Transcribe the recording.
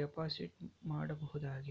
Deposit ಮಾಡಬಹುದಾಗಿದೆ.